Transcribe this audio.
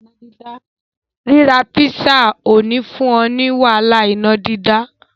Ríra písà ò ní fún ọ ní wàhálà iná dídá.